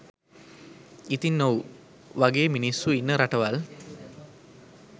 ඉතින් ඔව් වගේ මිනිස්සු ඉන්න රටවල්